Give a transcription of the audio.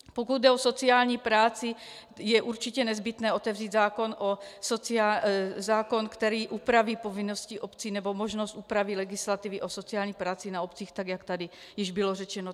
Pokud jde o sociální práci, je určitě nezbytné otevřít zákon, který upraví povinnosti obcí nebo možnost úpravy legislativy o sociální práci na obci tak, jak tady již bylo řečeno.